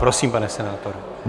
Prosím, pane senátore.